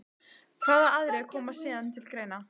Hvaða aðrir koma síðan til greina?